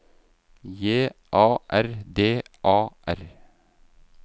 J A R D A R